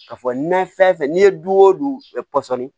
Ka fɔ n'an fɛn fɛn n'i ye du o du pɔsɔni